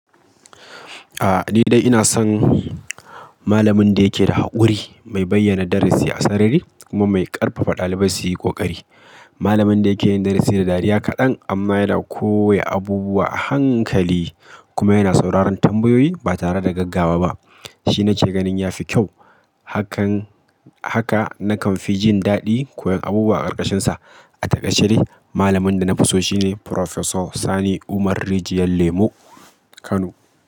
A'a ni dai ina son malamin da yake da haƙuri, mai bayyana darasi a sarari kuma mai ƙarfafa ɗalibai su yi ƙoƙari. Malamin da yake yin darasi da dariya kaɗan amma yana koya abubuwa a hankali kuma yana sauraron tambayoyi ba tare da gaggawa ba. Shi nake ganin ya fi kyau. Hakan, haka nakan fi jin daɗi koyan abubuwa a ƙarƙashinsa. A takaice dai malamin da na fi so shine Prifesor Sani Umar Rijiyar Lemo Kano.